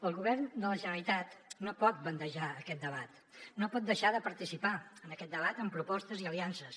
el govern de la generalitat no pot bandejar aquest debat no pot deixar de participar en aquest debat amb propostes i aliances